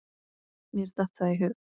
Mér datt það í hug.